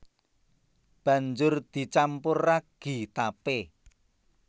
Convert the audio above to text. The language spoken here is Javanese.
Banjur dicampur ragi tapé